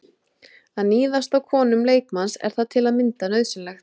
Að níðast á konum leikmanns, er það til að mynda nauðsynlegt?